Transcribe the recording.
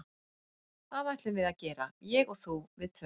Það ætlum við að gera, ég og þú, við tvö, saman.